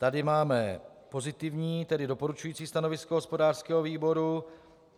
Tady máme pozitivní, tedy doporučující stanovisko hospodářského výboru.